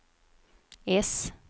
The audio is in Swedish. äss